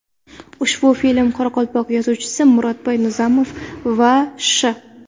Ushbu film qoraqalpoq yozuvchisi M. Nizanov va Sh.